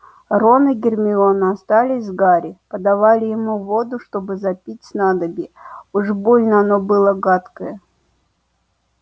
рон и гермиона остались с гарри подавали ему воду чтобы запить снадобье уж больно оно было гадкое